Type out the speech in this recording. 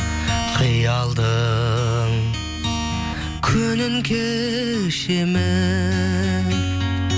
қиялдың көлін кешемін